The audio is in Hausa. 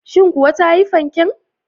Shin kuwa ta yi fanken?